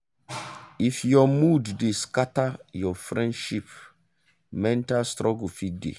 if your mood dey scatter your friendship mental struggle fit dey.